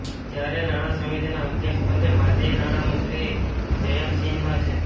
જ્યારે નાણા સમિતિના અધ્યક્ષપદે માજી નાણામંત્રી જંયતસિંહા છે